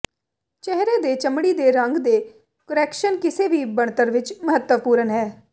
ਚਿਹਰੇ ਦੇ ਚਮੜੀ ਦੇ ਰੰਗ ਦੇ ਕੁਰੈਕਸ਼ਨ ਕਿਸੇ ਵੀ ਬਣਤਰ ਵਿੱਚ ਮਹੱਤਵਪੂਰਨ ਹੈ